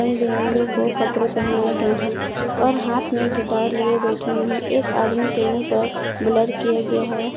बिरंगे को कपड़े पहने गए हैं और हाथ में गिटार लिए बैठे हुए एक आदमी के मुंह पर ब्लर किया गया है।